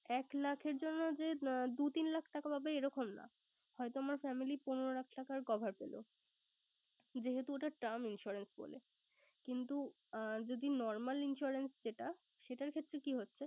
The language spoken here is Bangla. এক লাখের জন্য যে দু তিন লাখ টাকা পাবো এরকম না। হয়ত আমার family পনেরো লাখ টাকার cover পেলো। যেহেতু ওটা term insurance বলে। কিন্তু আহ যদি normal insurance যেটা সেটার ক্ষেত্রে কি হচ্ছে!